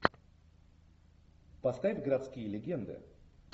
поставь городские легенды